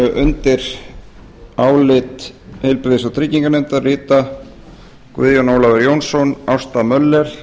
undir álit heilbrigðis og trygginganefndar rita guðjón ólafur jónsson ásta möller